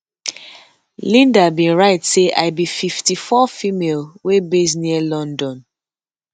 linda bin write say i be 54 female wey base near london